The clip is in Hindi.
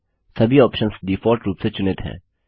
सभी ऑप्शन्स डिफॉल्ट रूप से चुनित हैं